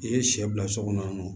I ye sɛ bila so kɔnɔ